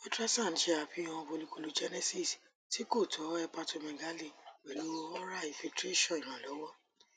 ultrasound ṣe afihan folliculogenesis ti ko tọ hepatomegaly pẹlu ora infiltration ìrànlọwọ